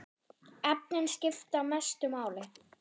Efnin skipta mestu máli.